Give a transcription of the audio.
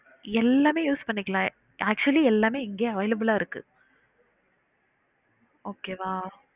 எல்லாமே use பன்னிக்கலாம் actually எல்லாமே இங்கே available ஆ இருக்கு okay வா